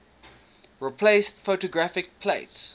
replaced photographic plates